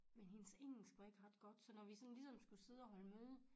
Men hendes engelsk var ikke ret godt så når vi ligesom skulle sidde og holde møde